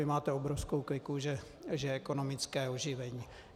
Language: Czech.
Vy máte obrovskou kliku, že je ekonomické oživení.